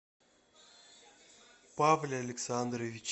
павле александровиче